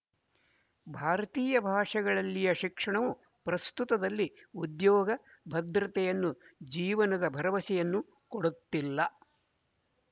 ಭಾರತೀಯ ಭಾಷೆಗಳಲ್ಲಿಯ ಶಿಕ್ಷಣವು ಪ್ರಸ್ತುತದಲ್ಲಿ ಉದ್ಯೋಗ ಭದ್ರತೆಯನ್ನು ಜೀವನದ ಭರವಸೆಯನ್ನು ಕೊಡುತ್ತಿಲ್ಲ